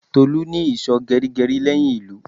Tolu ní ìsò geri geri leyin ilu